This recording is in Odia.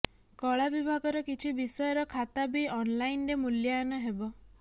କଳା ବିଭାଗର କିଛି ବିଷୟର ଖାତା ବି ଅନ୍ଲାଇନ୍ରେ ମୂଲ୍ୟାୟନ ହେବ